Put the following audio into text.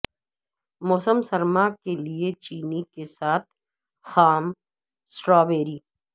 موسم سرما کے لئے چینی کے ساتھ خام سٹرابیری